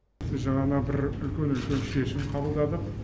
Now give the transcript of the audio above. біз жаңа бір үлкен үлкен шешім қабылдадық